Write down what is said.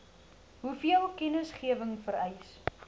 hoeveel kennisgewing vereis